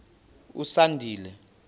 usandile